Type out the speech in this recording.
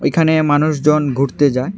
এখানে মানুষজন ঘুরতে যায়।